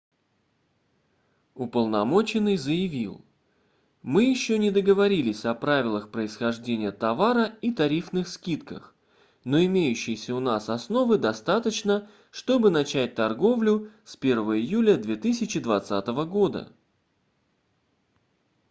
уполномоченный заявил мы ещё не договорились о правилах происхождения товара и тарифных скидках но имеющейся у нас основы достаточно чтобы начать торговлю с 1 июля 2020 года